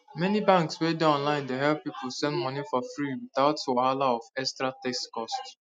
many banks wey dey online dey help people send money for freewithout wahala of extra text cost